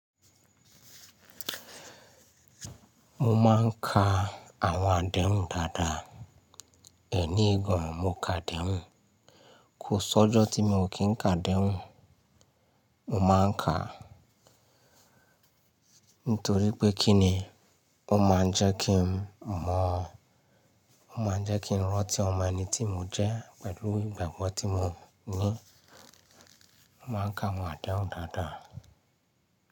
Mo máa ń ka àwọn àdéhùn dáadáa. Ẹni igun mo ka adéhùn. Kò sí ọjọ́ tí mo kí ń ka adéhùn. Mo máa ń kaa. Nítorí pé kí ni? Ó máa ń jẹ́ kí n mọ̀ ọ́n. Ó máa ń jẹ́ kí n rántí ọmọ ẹni tí mo jẹ́ pẹ̀lú ìgbàgbọ́ tí mo ní. Mo máa ń ka àwọn àdéhùn dáadáa.